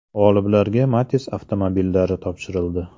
G‘oliblarga Matiz avtomobillari topshirildi.